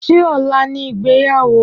Ṣé ọlá ni ìgbéyàwó?